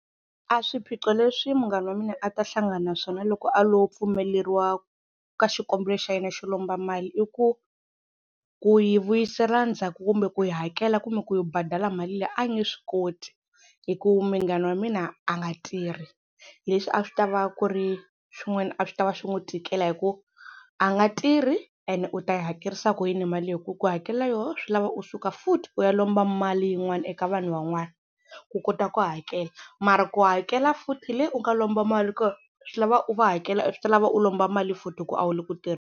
A swiphiqo leswi munghana wa mina a ta hlangana na swona loko a lo pfumeleriwa ka xikombelo xa yena xo lomba mali i ku ku yi vuyisela ndzhaku kumbe ku yi hakela kumbe ku yi badela mali leyi a nge swi koti hi ku munghana wa mina a nga tirhi, leswi a swi ta va ku ri swin'wana a swi tava swi n'wi tikela hi ku a nga tirhi and u ta yi hakerisa ku yini mali leyi hi ku ku hakela yoho swi lava u suka futhi u ya lomba mali yin'wana eka vanhu van'wana ku kota ku hakela, mara ku hakela futhi leyi u nga lomba mali ko swi lava u va hakela swi ta lava u lomba mali futhi hi ku a wu le ku .